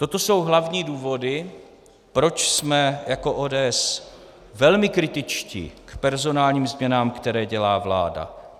Toto jsou hlavní důvody, proč jsme jako ODS velmi kritičtí k personálním změnám, které dělá vláda.